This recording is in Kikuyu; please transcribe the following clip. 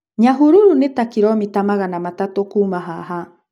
Nyahururu nĩ ta kiromita magana matatũ kuuma haha.